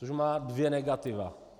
Což má dvě negativa.